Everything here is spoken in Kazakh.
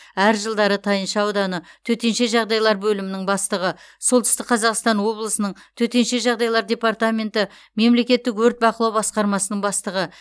әр жылдары тайынша ауданы төтенше жағдайлар бөлімінің бастығы солтүстік қазақстан облысының төтенше жағдайлар департаменті мемлекеттік өрт бақылау басқармасының бастығы